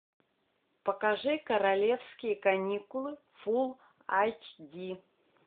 покажи королевские каникулы фул айч ди